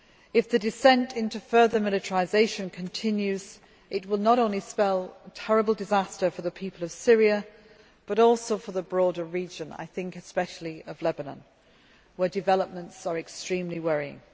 If the descent into further militarisation continues, it will spell terrible disaster not only for the people of Syria, but also for the broader region I am thinking especially of Lebanon where developments are extremely worrying.